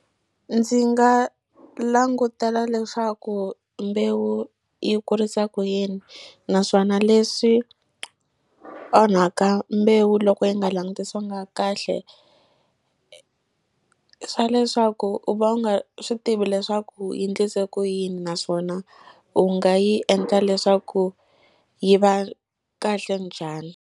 Ndzi nga langutela leswaku mbewu yi kurisa ku yini naswona leswi onhaka mbewu loko yi nga langutisiwanga kahle i swa leswaku u va u nga swi tivi leswaku yi endlise ku yini naswona u nga yi endla leswaku yi va kahle njhani.